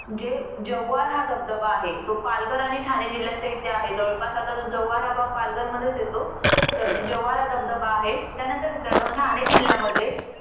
जे जव्हार हा धबधबा आहे तो पालघर आणि ठाणे जिल्ह्याच्या इथे आहे जवळपास जो जव्हार हा भाग पालघरमध्येच येतो तर जव्हार हा धबधबा आहे त्यानंतर मित्रानो ठाणे जिल्ह्यामध्ये